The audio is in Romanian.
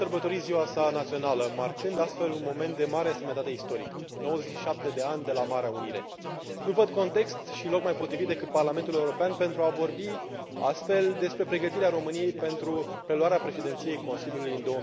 Domnule președinte, ieri, de 1 decembrie, România a sărbătorit ziua sa națională, marcând astfel un moment de mare însemnătate istorică 97 de ani de la Marea Unire. Nu văd context și loc mai potrivit decât Parlamentul European pentru a vorbi astfel despre pregătirea României pentru preluarea președinției Consiliului în